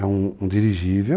É um um dirigível,